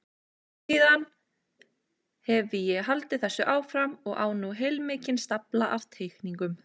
Síðan hefi ég haldið þessu áfram og á nú heilmikinn stafla af teikningum.